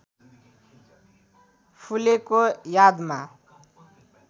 फुलेको यादमा